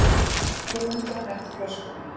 Svo mundi hann eftir flöskunni.